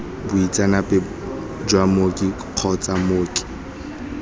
boitseanape jwa mooki kgotsa mooki